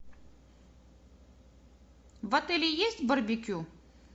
в отеле есть барбекю